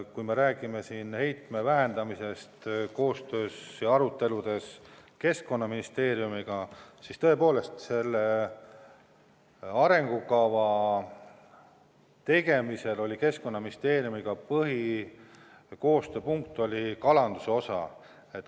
Kui me räägime heitme vähendamisest koostöös Keskkonnaministeeriumiga, siis tõepoolest selle arengukava tegemisel oli põhiline koostööpunkt kalanduse osa.